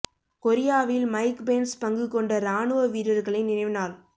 கொரியாவில் Mike Pence பங்கு கொண்ட இராணுவ வீரர்களின் நினைவு நாள்